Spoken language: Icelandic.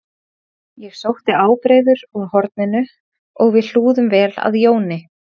Ég sótti ábreiður úr horninu og við hlúðum vel að Jóni